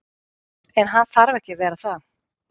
En hann þarf ekki að vera það.